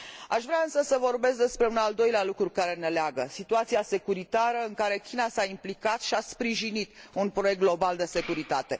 Aș vrea însă să vorbesc despre un al doilea lucru care ne leagă situația securitară în care China s a implicat și a sprijinit un proiect global de securitate.